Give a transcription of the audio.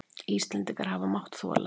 Íslendingar hafa mátt þola.